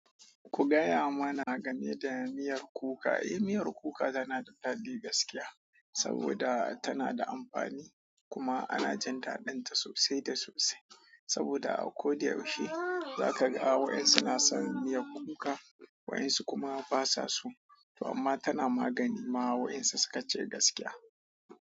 Ku gaya mana game da miyar kuka. Eh, miyar kuka tana da faɗi gaskiya saboda tana da amfani kuma ana jin daɗinta sosai da sosai saboda a koda yaushe za ka ga waɗansu na san miyar kuka, waɗansu kuma basa so to amma tana magani ma waɗansu suka ce gaskiya.